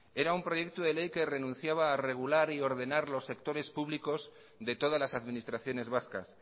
era un proyecto de ley que renunciaba a regular y ordenar los sectores públicos de todas las administraciones vascas